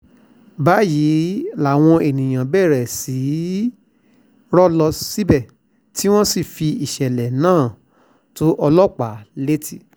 báyìí làwọn èèyàn bẹ̀rẹ̀ sí í rọ́ lọ síbẹ̀ tí wọ́n sì fi ìṣẹ̀lẹ̀ náà tó ọlọ́pàá létí